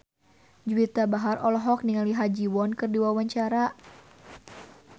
Juwita Bahar olohok ningali Ha Ji Won keur diwawancara